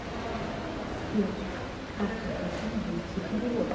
сбер как подключить быстрый перевод